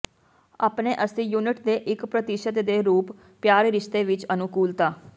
ਆਪਣੇ ਅੱਸੀ ਯੂਨਿਟ ਦੇ ਇੱਕ ਪ੍ਰਤੀਸ਼ਤ ਦੇ ਰੂਪ ਪਿਆਰ ਰਿਸ਼ਤੇ ਵਿਚ ਅਨੁਕੂਲਤਾ